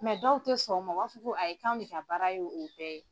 dɔw tɛ sɔn o ma, o b'a fɔ ko a ye kan de ka baara ye o bɛɛ ye.